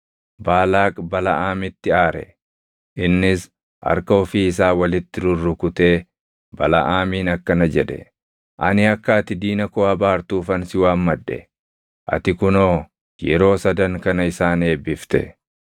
Baalaaq Balaʼaamitti aare. Innis harka ofii isaa walitti rurrukutee Balaʼaamiin akkana jedhe; “Ani akka ati diina koo abaartuufan si waammadhe; ati kunoo yeroo sadan kana isaan eebbifte.